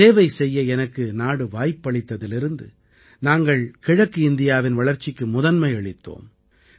சேவை செய்ய எனக்கு நாடு வாய்ப்பளித்ததிலிருந்து நாங்கள் கிழக்கு இந்தியாவின் வளர்ச்சிக்கு முதன்மை அளித்தோம்